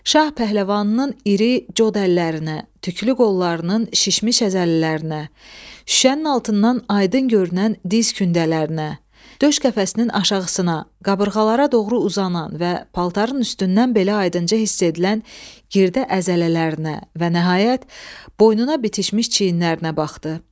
Şah pəhləvanının iri cod əllərinə, tüklü qollarının şişmiş əzələlərinə, şüşənin altından aydın görünən diz kündələrinə, döş qəfəsinin aşağısına, qabırğalara doğru uzanan və paltarın üstündən belə aydınca hiss edilən girdə əzələlərinə və nəhayət, boynuna bitişmiş çiynlərinə baxdı.